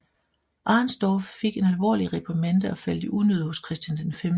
Arensdorf fik en alvorlig reprimande og faldt i unåde hos Christian 5